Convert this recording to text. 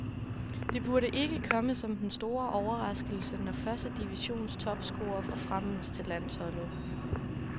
Det burde ikke komme som den store overraskelse, når første divisions topscorer forfremmes til landsholdet.